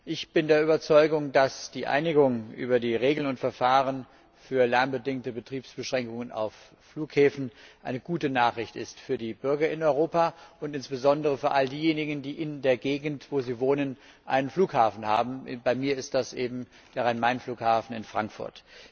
Ich bin der Überzeugung, dass die Einigung über die Regeln und Verfahren für lärmbedingte Betriebsbeschränkungen auf Flughäfen eine gute Nachricht für die Bürger in Europa ist, insbesondere für all diejenigen, die in der Gegend, wo sie wohnen, einen Flughafen haben bei mir ist das eben der Rhein Main Flughafen in Frankfurt.